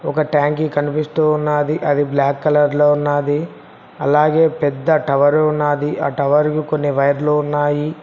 ఒక ట్యాంకి కనిపిస్తూ ఉన్నది అది బ్లాక్ కలర్ లో ఉన్నది అలాగే పెద్ద టవర్ ఉన్నది ఆ టవర్కు కొన్ని వైర్లు ఉన్నాయి.